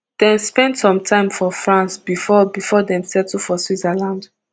dem spend some time for france bifor bifor dem settle for switzerland